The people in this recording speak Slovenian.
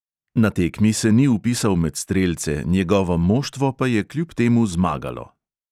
Na tekmi se ni vpisal med strelce, njegovo moštvo pa je kljub temu zmagalo.